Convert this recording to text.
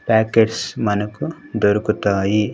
Packets మనకు దొరుకుతాయి.